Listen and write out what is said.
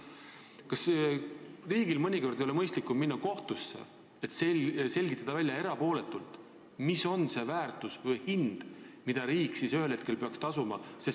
Kas riigil ei oleks mõistlikum minna kohtusse, et erapooletult saaks välja selgitatud, milline on selle vara väärtus ehk siis summa, mille riik ühel hetkel peaks tasuma?